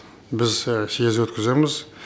біз съез өткіземіз